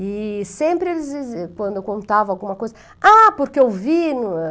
E sempre eles, quando eu contava alguma coisa, ah, porque eu vi.